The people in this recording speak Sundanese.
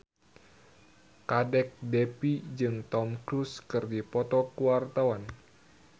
Kadek Devi jeung Tom Cruise keur dipoto ku wartawan